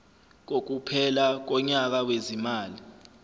kokuphela konyaka wezimali